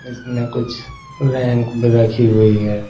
इसमें कुछ रैंक भी रखी हुई है।